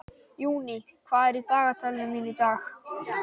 Júní, hvað er í dagatalinu mínu í dag?